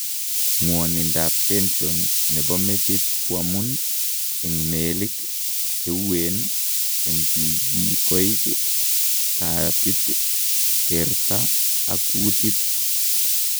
Ng'wonindab tension nebo metit koamun eng' meelik cheueen eng' tikikoik, kaatit, terta ak kuutit